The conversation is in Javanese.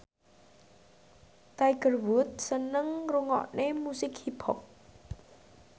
Tiger Wood seneng ngrungokne musik hip hop